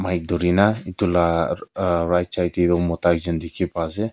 mic dhori na etu lah aa right side teh oh mota ekjon dikhi pa ase.